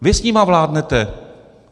Vy s nimi vládnete.